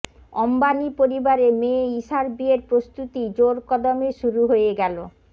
অম্বানি পরিবারে মেয়ে ঈশার বিয়ের প্রস্তুতি জোরকদমে শুরু হয়ে গেল